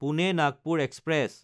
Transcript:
Pune-Nagpur express